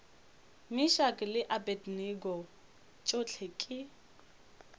meshack le abednego tšohle ke